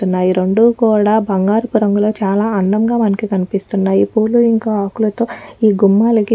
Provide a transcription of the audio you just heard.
తున్నాయి రెండు కూడా బంగారపు రంగుతో చాలా అందంగా మనకి కనిపిస్తున్నాయిపూలు ఇంక ఆకులతో ఈ గుమ్మాలకి --.